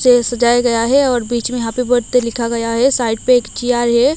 Chair सजाया गया है और बीच में हैप्पी बर्थडे लिखा गया है साइड पे एक चेयर है।